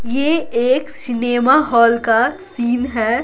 ये एक cinema hall का सीन है।